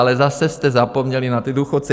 Ale zase jste zapomněli na ty důchodce.